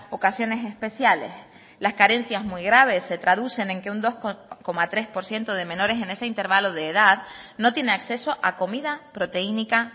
ocasiones especiales las carencias muy graves se traducen en que un dos coma tres por ciento de menores en ese intervalo de edad no tiene acceso a comida proteínica